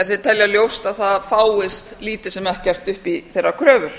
ef þeir telja ljóst að það fáist lítið sem ekkert upp í þeirra kröfur